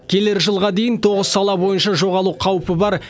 келер жылға дейін тоғыз сала бойынша жоғалу қаупі бар